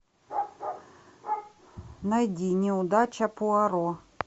найди неудача пуаро